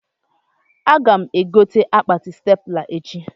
Aga m egote akpati stepla echi